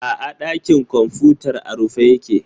A'a, ɗakin kwamfutar a rufe yake.